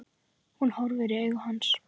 Hún horfir í augu hans.